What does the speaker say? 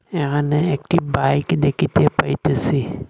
এহানে একটি বাইক দেখিতে পাইতেসি।